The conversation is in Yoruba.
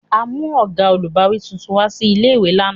A mu oga olubawi tuntun wa si ìlé-ìwé làná.